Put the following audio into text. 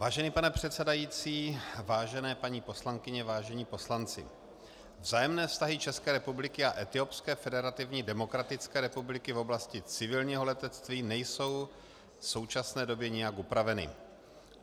Vážený pane předsedající, vážené paní poslankyně, vážení poslanci, vzájemné vztahy České republiky a Etiopské federativní demokratické republiky v oblasti civilního letectví nejsou v současné době nijak upraveny.